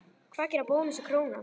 Hvað gera Bónus og Krónan?